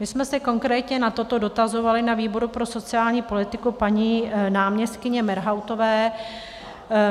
My jsme se konkrétně na toto dotazovali na výboru pro sociální politiku paní náměstkyně Merhautové.